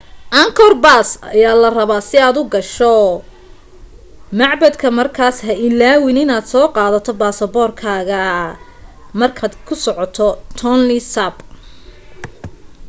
angkor pass ayaa laga rabaa si aad u gasho macbadka markaas ha ilaawin inaad soo qaadato baasboorkaaga markaad ku socoto tonle sap